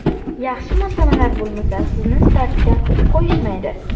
Yaxshi moslamalar bo‘lmasa, sizni startga qo‘yishmaydi.